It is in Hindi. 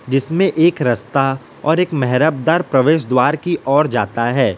जिसमें एक रस्ता और एक मेहराबदार प्रवेश द्वार की ओर जाता है।